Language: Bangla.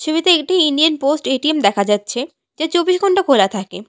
ছবিতে একটি ইন্ডিয়ান পোস্ট এ_টি_এম দেখা যাচ্ছে যা চব্বিশ ঘন্টা খোলা থাকে।